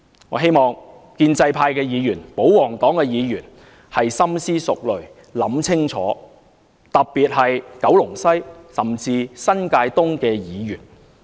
我希望建制派及保皇黨的議員深思熟慮，想清楚，特別是九龍西甚至新界東的議員。